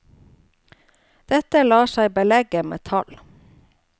Dette lar seg belegge med tall.